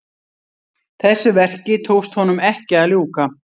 Þessu verki tókst honum ekki að ljúka.